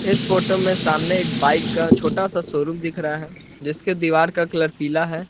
इस फोटो में सामने एक बाइक का छोटा सा शोरूम दिख रहा है जिसके दीवार का कलर पीला है।